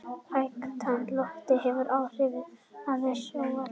Hækkandi lofthiti hefur áhrif á eðliseiginleika sjávar.